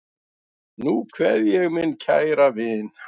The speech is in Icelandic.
Nú kveð ég minn kæra vin.